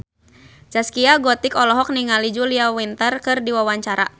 Zaskia Gotik olohok ningali Julia Winter keur diwawancara